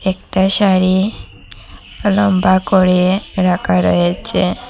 একটা শাড়ি লম্বা করে রাখা রয়েছে।